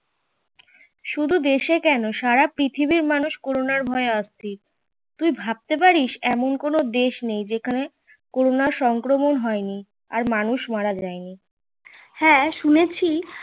শুদু দেশে কেনো সারা পৃথিবীর মানুষ করোনার ভয়ে অস্তির